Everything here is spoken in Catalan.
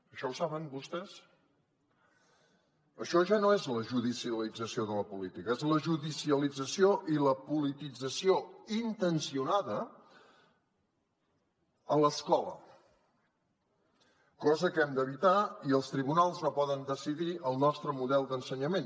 això ho saben vostès això ja no és la judicialització de la política és la judicialització i la politització intencionada a l’escola cosa que hem d’evitar i els tribunals no poden decidir el nostre model d’ensenyament